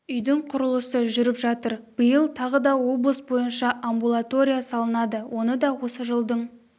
үйдің құрылысы жүріп жатыр биыл тағы да облыс бойынша амбулатория салынады оны да осы жылдың